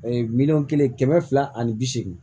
miliyɔn kelen kɛmɛ fila ani bi seegin